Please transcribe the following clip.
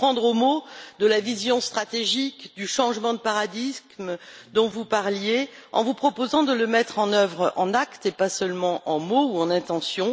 Vous prendre au mot à propos de la vision stratégique, du changement de paradigme dont vous parliez, en vous proposant de le mettre en œuvre en actes, et pas seulement en mots ou en intentions.